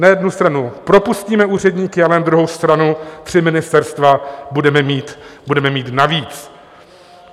Na jednu stranu propustíme úředníky, ale na druhou stranu tři ministerstva budeme mít navíc.